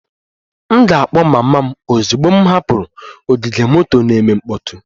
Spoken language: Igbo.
M ga-akpọ mama m ozugbo m hapụrụ ogige moto na-eme mkpọtụ